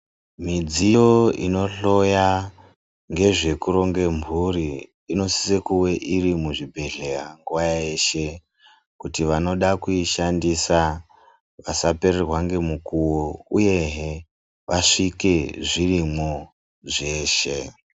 Midziyo ino hloya ngezve kuronge mburi ino sise kuve iri mu zvibhedhleya nguva yeshe kuti vanoda kuishandisa vasa pererwa nge mukuwo uyehe wasvike zvirimwo zveshe.